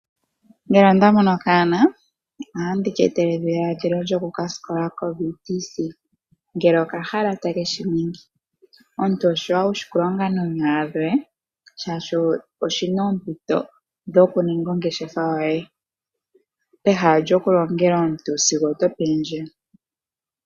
Yamwe yomaavali ohaya kumagidha omaluvalo gawo, opo ga katsikile nomayilongo gawo kiiputudhilo yopaungomba. Oshi li shasima uuna omuntu ti ilongele noonyala dhe, oshoka ota vulu oku kamona ompito a tote ongeshefa ye peha lyokulongela omuntu.